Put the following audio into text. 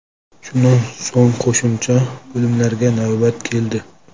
Shundan so‘ng qo‘shimcha bo‘limlarga navbat keldi.